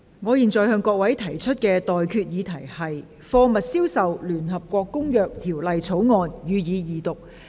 我現在向各位提出的待決議題是：《貨物銷售條例草案》，予以二讀。